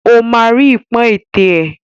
O ma ri ipọn ètè é.